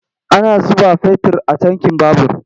Ana zuba fetir a tankin babur.